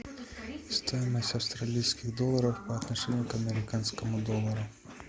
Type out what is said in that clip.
стоимость австралийских долларов по отношению к американскому доллару